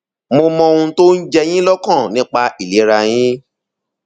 mo mọ ohun tó ń jẹ yín lọkàn nípa ìlera yín